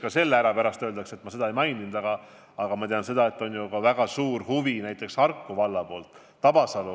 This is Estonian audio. Ja et pärast ei öeldaks, et ma seda ei maininud, siis ütlen ka selle ära, et väga suur huvi selle vastu on Harku vallas.